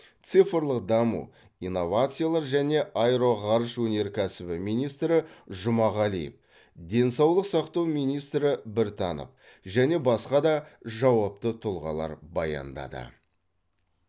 цифрлық даму инновациялар және аэроғарыш өнеркәсібі министрі а жұмағалиев денсаулық сақтау министрі е біртанов және басқа да жауапты тұлғалар баяндады